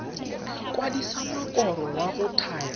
kwadisa mokoro wa go thaya